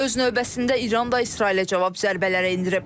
Öz növbəsində İran da İsrailə cavab zərbələri endirib.